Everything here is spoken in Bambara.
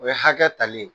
O ye hakɛ tali ye